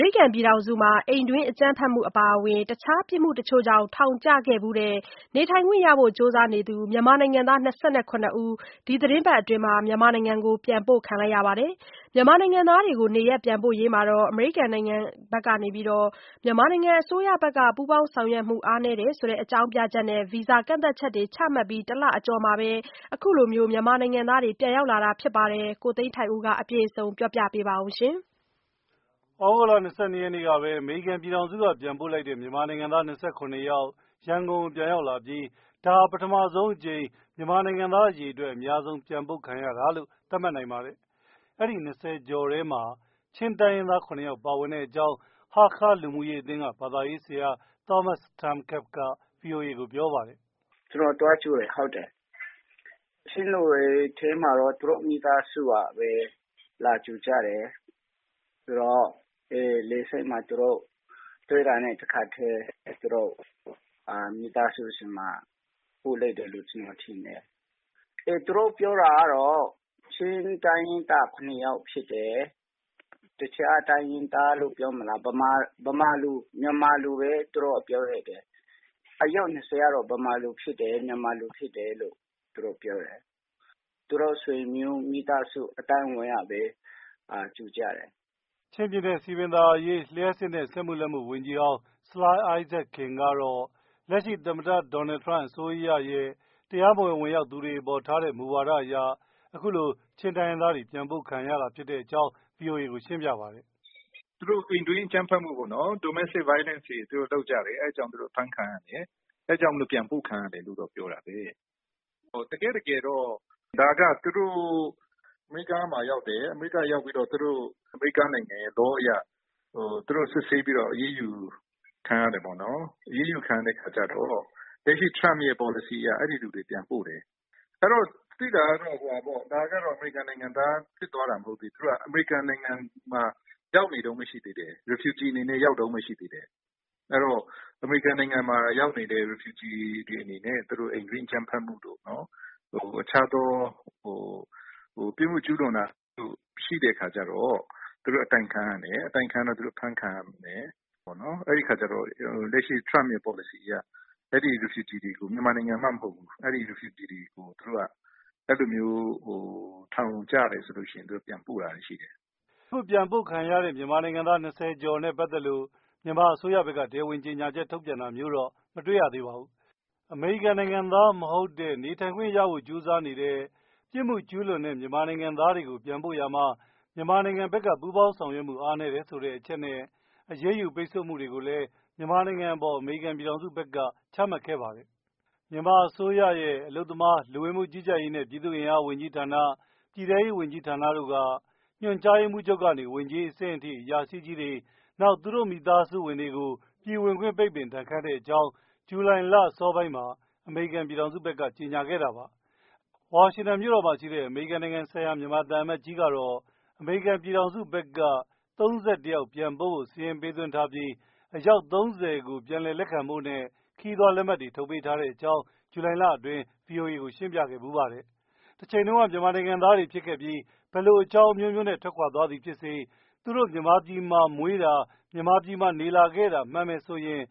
ရိကန်ပြည်ထောင်စုမှာ အိမ်တွင်းအကြမ်းဖက်မှု အပါအဝင် တခြားပြစ်မှုတချို့ကြောင့် ထောင် ကျခဲ့ဖူးတဲ့ နေထိုင်ခွင့်ရဖို့ ကြိုးစားနေသူ မြန်မာနိုင်ငံသား ၂၇ ယောက် ဒီသီတင်းပတ်အတွင်း မြန်မာနိုင်ငံကို ပြန်ပို့ခံရပါတယ်။ မြန်မာနိုင်ငံသားတွေကို နေရပ်ပြန်ပို့ရေးမှာ မြန်မာနိုင်ငံ အစိုးရ ဘက်က ပူပေါင်းဆောင်ရွက်မှု အားနည်းတယ်ဆိုတဲ့အကြောင်းပြချက်နဲ့ အမေရိကန်ပြည်ထောင်စု ဘက်က ဗီဇာကန့်သတ်ချက်တွေ ချမှတ်ပြီး ၁ လကျော်အကြာမှာပဲ အခုလို မြန်မာနိုင်ငံသားတွေ ပြန်ရောက်လာတာပါ။ ကိုသိန်းထိုက်ဦးက တင်ပြထားပါတယ်။ သြဂုတ်လ ၂၂ ရက်နေ့ကပဲ အမေရိကန်ပြည်ထောင်စုက ပြန်ပို့လိုက်တဲ့ မြန်မာနိုင်ငံသား ၂၇ ယောက် ရန်ကုန်ကို ပြန်ရောက်လာပြီး ဒါဟာ ပထဆုံးအကြိမ် မြန်မာနိုင်ငံသား အရေအတွက် အများဆုံး ပြန်ပို့ခံရတာလို့ သတ်မှတ်နိုင်ပါတယ်။ အဲဒီ ၂၀ ကျော်ထဲမှာ ချင်းတိုင်းရင်းသား ၇ ယောက် ပါဝင်တဲ့အကြောင်း ဟားခါး လူမှူရေးအသင်းက ဘာသာရေးဆရာ Thomas Thang Kep က VOA ကို ပြောပါတယ်။ “ကျနော်သွားကြိုတယ်၊ ဟုတ်တယ်။ ချင်းလူတွေထဲမှာတော့ သူတို့ မိသားစုကပဲ လာကြိုကြတယ်။ ဆိုတော့ လေဆိပ်မှာ တွေ့တာနဲ့ တခါတည်း မိသားစုဆီမှာ ပို့လိုက်တယ်လို့ ကျနော်ထင်တယ်။ သူတို့ ပြောတာကတော့ ချင်းတိုင်းရင်းသားက ၇ ယောက်ဖြစ်တယ်။ တခြား တိုင်းရင်းသားလို့ ပြောမလား၊ ဗမာ၊ မြန်မာလို့ပဲ ပြောတယ်။ အယောက် ၂၀ ကတော့ ဗမာ၊ မြန်မာတွေ ဖြစ်တယ်လို့ ပြောတယ်။ သူတို့ မိသားစု အသိုင်းအဝိုင်းကပဲ ကြိုကြတယ်။” ချင်းပြည်နယ် စည်ပင်သာယာရေး၊ လျှပ်စစ်နဲ့ စက်မှုလက်မှု ဝန်ကြီးဟောင်း ဆလိုင်းအိုင်းဇက်ခင် ကလည်း လက်ရှိ သမ္မတ Donald Trump အစိုးရရဲ့ တရးမဝင်ဝင်ရောက်သူတွေအပေါ် ထားတဲ့ မူဝါဒအရ အခုလို ချင်းတိုင်းရင်းသားတွေ ပြန်ပို့ခံကြရတာဖြစ်တဲ့အကြောင်း VOA ကို ပြောပါတယ်။ “သူတို့ အိမ်တွင်းအကြမ်းဖက်မှုတွေ ကျုးလွန်တယ်။ Domestic Violence ပေါ့။ ဒါကြောင့် သူတို့ ပြန်ပို့ခံရတယ်လို့ ပြောတာပါ။ တကယ့် တကယ်တော့ အမေရိကားကို သူတို့ရောက်တယ်။ အမေ ရိကားနိုင်ငံရဲ့ Law အရ သူတို့ စစ်ဆေးပြီးတော့ အရေးယူခံရတယ်။ အရေးယူ ခံရပြီးတော့ လက်ရှိ Trump ရဲ့ ပေါ်လစီအရ အဲဒီလူတွေ ပြန်ပို့တယ်။ သိတာကတော့ ဒါက အမေရိကန်နိုင်ငံသား ဖြစ်သွားတာ မဟုတ်သေးဘူး။ သူတို့က အမေရိကန် နိုင်ငံမှာ Refugee အနေနဲ့ ရောက်နေတုန်း၊ အဲဒီ အမေရိကန်နိုင်ငံမှာ ရောက်နေတဲ့ Refugee တွေအနေနဲ့ အိမ်တွင်း အကြမ်းဖက်မှုတို့၊ အခြား ပြစ်မှုကျုးလွန်တာတွေ ရှိတော့ အတိုင်ခံရတယ်။ အဖမ်းခံရမယ်။ အဲဒီအခါမှာ လက်ရှိ Trump ရဲ့ ပေါ်လစီအရ၊ မြန်မာနိုင်ငံသားမှ မဟုတ်ဘူး ထောင်ကျတယ်ဆိုရင် ပြန်ပို့တာတွေ ရှိပါတယ်။” အခု ပြန်ရောက်လာသူတွေနဲ့ ပတ်သက်လို့ မြန်မာအစိုးရဘက်က တရားဝင်ကြေညာချက် ထုတ်ပြန်တာတော့ မတွေ့ရသေးပါဘူး။ အမေရိကန်နိုင်ငံသားမဟုတ်တဲ့ နေထိုင်ခွင့်ရဖို့ကြိုးစားနေတဲ့အချိန် ပြစ်မှုကျုးလွန်တဲ့ သူတွေကို ပြန်ပို့ရာမှာ မြန်မာနိုင်ငံဘက်က ပူးပေါင်း ဆောင်ရွက်မှု အားနည်းတယ်ဆိုတဲ့ အချက်နဲ့ အရေးယူ ပိတ်ဆို့မှုတွေလည်း မြန်မာနိုင်ငံအပေါ် အမေရိကန်ပြည်ထောင်စုဘက်က ချမှတ်ခဲ့ ပါတယ်။မြန်မာ အစိုးရရဲ့ အလုပ်သမား၊ လူဝင်မှုကြီးကြပ်ရေးနဲ့ ပြည်သူ့အင်အား ဝန်ကြီးဌာန၊ ပြည်ထဲရေး ဝန်ကြီး ဌာနတို့က ညွှန်ကြားရေးမှူးချုပ်ကနေ ဝန်ကြီး အဆင့်ထိ အရာရှိကြီးတွေ၊ နောက် သူတို့ မိသားစု ဝင်တွေကို ပြည်ဝင်ခွင့် ပိတ်ပင် ဒဏ်ခတ်တဲ့အကြောင်း အမေရိကန်ပြည်ထောင်စုက ဇူလိုင်လ အစောပိုင်းက ကြေညာခဲ့ပါတယ်။ ဝါရှင်တန်မြို့တော်မှာ ရှိတဲ့ အမေရိကန်နိုင်ငံဆိုင်ရာ မြန်မာသံအမတ်ကြီးကတော့ အမေရိကန် ပြည်ထောင်စုဘက်က ၃၁ ယောက် စာရင်းပေးထားပြီး အယောက် ၃၀ ကို ပြန်လည်လက်ခံဖို့နဲ့ ခရီးသွားလက်မှတ်တွေ ထုတ်ပေးထားတဲ့အကြောင်း VOA ကို ဇူလိုင်လ အတွင်းက ရှင်းပြခဲ့တာပါ။ တချိန်တုန်းက မြန်မာနိုင်ငံသားတွေဖြစ်ပြီးတော့ ဘယ်လိုအကြောင်းအမျိုးမျိုးနဲ့ ထွက်ခွာသွား သည် ဖြစ်စေ သူတို့ကို မြန်မာပြည်မှာမွေးတာ မြန်မာပြည်မှာ နေလာတဲ့လူဖြစ်မယ်ဆိုရင်